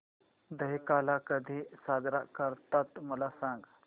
दहिकाला कधी साजरा करतात मला सांग